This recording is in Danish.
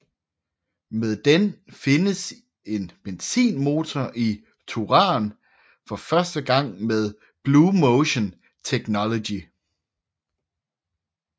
Med den findes en benzinmotor i Touran for første gang med BlueMotion Technology